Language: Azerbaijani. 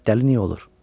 Dəli niyə olur?